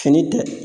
Fini tɛ